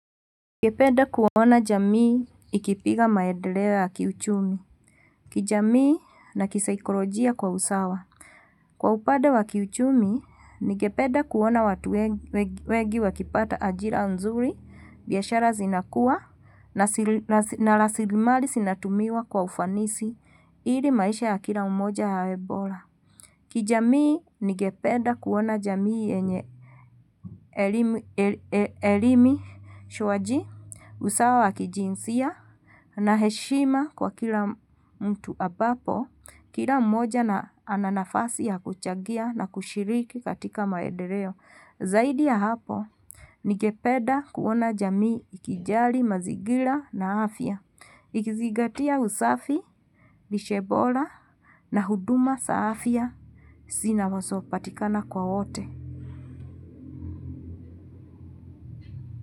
Nigepeda kuona jamii ikipiga maedeleo wakiuchumi. Kijamii na kisaikolojia kwa usawa. Kwa upade wa kiuchumi, ningepeda kuona watu wengi wakipata ajira nzuri, biyashara zinakuwa, na rasilimali sinatumiwa kwa ufanisi, ili maisha ya kila mmoja yawe bola. Kijamii ningepeda kuona jamii yenye elimi ujuaji usawa wa kijinsia na heshima kwa kila mtu abapo kila mmoja na ananafasi ya kuchagia na kushiriki katika maedereo. Zaidi ya hapo, nigepeda kuona jamii ikijali mazigila na afya, ikizigatia usafi, lishe bola na huduma sa afya, sina wazo patikana kwa ote.